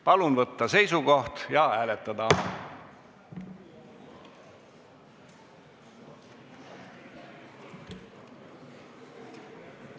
Palun võtta seisukoht ja hääletada!